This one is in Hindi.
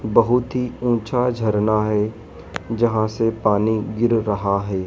बहुत ही ऊंचा झरना हैं जहां से पानी गिर रहा है।